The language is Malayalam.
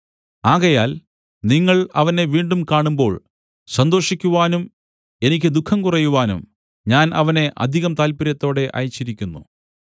ആകയാൽ നിങ്ങൾ അവനെ വീണ്ടും കാണുമ്പോൾ സന്തോഷിക്കുവാനും എനിക്ക് ദുഃഖം കുറയുവാനും ഞാൻ അവനെ അധികം താല്പര്യത്തോടെ അയച്ചിരിക്കുന്നു